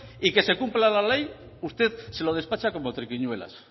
y que se cumpla la ley usted se lo despacha como triquiñuelas